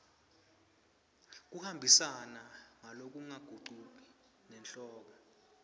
kuhambisana ngalokungagucuki nesihloko